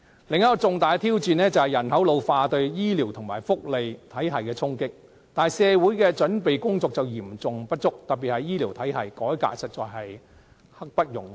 另一項重大挑戰是人口老化對醫療及福利體系的衝擊，但社會的準備工作嚴重不足，特別是醫療體系的改革實在刻不容緩。